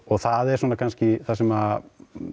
það er svona kannski það sem